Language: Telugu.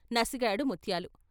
నసిగాడు ముత్యాలు.